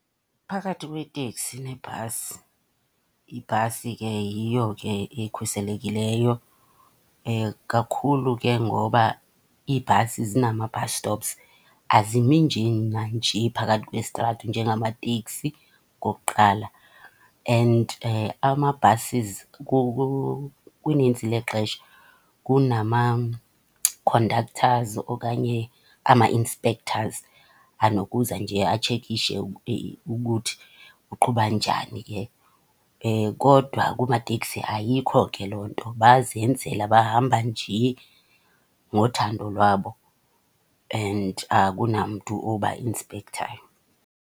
Phakathi kweteksi nebhasi, ibhasi ke yiyo ke ekhuselekileyo. Kakhulu ke ngoba iibhasi zinama-bus stops azimi nje nanje phakathi kwesitrato njengamateksi, okokuqala. And ama-buses kunintsi lexesha kunama-conductors okanye ama-inspectors anokuza nje atshekishe ukuthi uqhuba njani ke. Kodwa kumateksi ayikho ke loo nto bazenzela, bahamba nje ngothando lwabo and akunamntu oba inspekthayo.